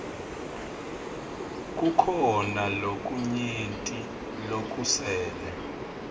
kukhona lokunyenti lokusele